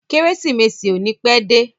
Kérésìmesì ò ní pẹ́ dé.